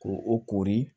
Ko o koori